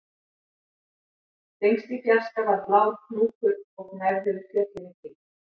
Lengst í fjarska var blár hnúkur og gnæfði yfir fjöllin í kring